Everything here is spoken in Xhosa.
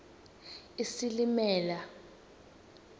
isilimela